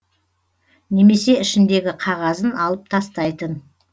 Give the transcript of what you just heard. немесе ішіндегі қағазын алып тастайтын